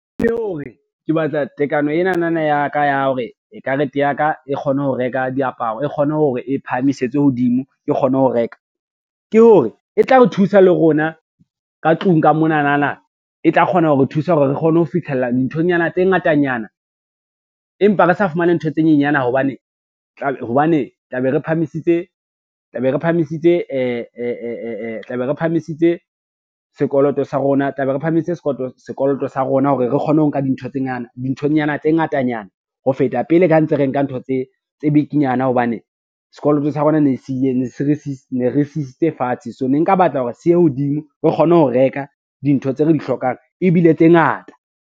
Ke hore ke batla tekano enana ya ka ya hore karete ya ka e kgone ho reka diaparo, e kgone hore e phahamisetsa hodimo ke kgone ho reka, ke hore e tla re thusa le rona ka tlung ka monanana e tla kgona ho re thusa hore re kgone ho fitlhella nthonyana tse ngatanyana, empa re sa fumane ntho tse nyenyana hobane tla be re phahamise sekoloto sa rona hore re kgone ho nka dinthonyana tse ngatanyana ho feta pele, ka ha ntse re nka ntho tse bikinyana hobane sekoloto sa rona ne re se isitse fatshe. So ne nka batla hore se ye hodimo re kgone ho reka dintho tse re di hlokang ebile tse ngata.